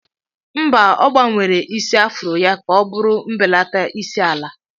Mba, ọ gbanwere isi afro ya ka ọ bụrụ mbelata isi ala.